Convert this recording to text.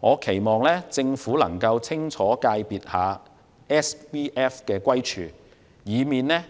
我期望政府能夠清楚界定 SVF， 以避免